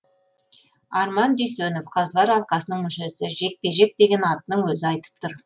арман дүйсенов қазылар алқасының мүшесі жекпе жек деген атының өзі айтып тұр